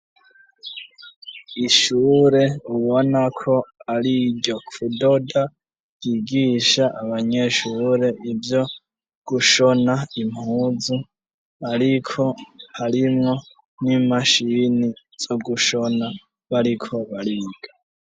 Ishure ubona ko ari iryo kudoda, yigisha abanyeshure ivyo gushona impuzu, ariko harimwo n'imashini zo gushona bariko bariga.